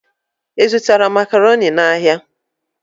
Ị zụtara Makaroni n'ahịa?